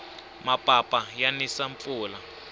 mapapa ya nisa mpfula